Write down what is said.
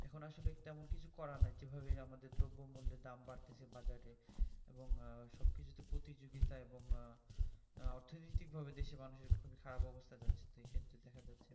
এখন আসলে তেমন কিছু করার নেই যেভাবে আমাদের দ্রব্যমূলের দাম বাড়ছে বাজারে এবং সবকিছুতে প্রতিযোগিতা এবং অর্থনৈতিক ভাবে দেশে মানুষের খুবই খারাপ অবস্থা যাচ্ছে সেক্ষেত্রে দেখা যাচ্ছে